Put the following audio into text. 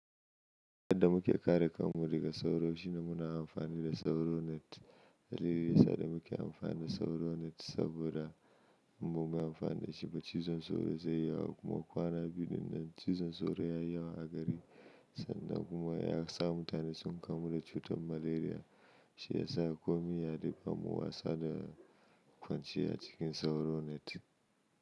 Yadda muke kare kanmu daga sauro shine muna amfani da mosquitor net. Dalilin da yasa da muke amfani da sauro net saboda in ba mu yi amfani da shi ba cizon sauro zai yawa. Kuma kwana biyun nan cizon sauro ya yawa a gari sannan kuma ya sa mutane sun kamu da cutar malaria. Shi ya sa komin yaya duk kar muyi wasa da- kwanciya cikin sauro net.